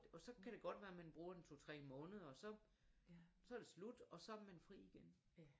Og så kan det godt være man bruger 1 2 3 måneder og så så det slut og så har man fri igen